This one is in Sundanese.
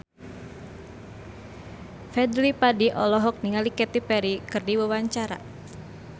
Fadly Padi olohok ningali Katy Perry keur diwawancara